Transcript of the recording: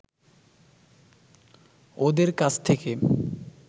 ওঁদের কাছ থেকে